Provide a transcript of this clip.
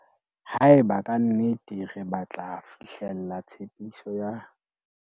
Haeba ka nnete re batla fihlella tshepiso ya